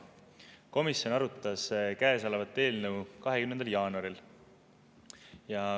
Komisjon arutas käesolevat eelnõu 20. jaanuaril.